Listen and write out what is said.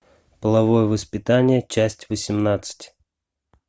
половое воспитание часть восемнадцать